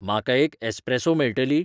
म्हाका एक एसप्रॅसो मेळटली